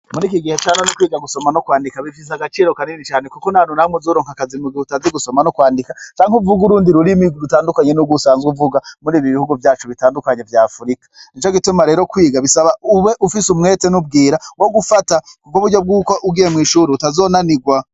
Muriki gihe canone twiga gusoma no kwandika bifise agaciro kanini cane kuko ntahantu na hamwe uzoronka akazi mu gihe utazi gusoma no kwandika cane uvuge urundi rurimi rutandukanye nurwo usanzwe uvuga muri bino bihugu vyacu vya Africa. Nicogituma rero kwiga ube ufise umwete n'ubwira wo gufata kuburyo ko ugiye mw'ishure utazonanirwa.